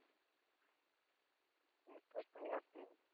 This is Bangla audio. সুন্দর তো বটেই।